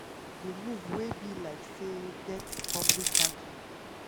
di move wey be like say get public backing.